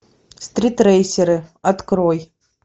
стрит рейсеры открой